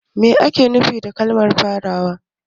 Me ake nufi da kalmar farawa?